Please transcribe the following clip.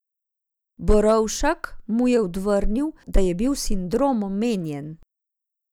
Borovšak mu je odvrnil, da je bil sindrom omenjen.